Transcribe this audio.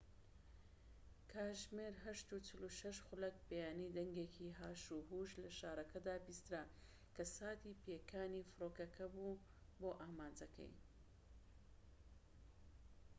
کاتژمێر ٨:٤٦ ی بەیانی، دەنگێکی هاشوهوش لە شارەکەدا بیسترا، کە ساتی پێکانی فڕۆکەکە بوو بۆ ئامانجەکەی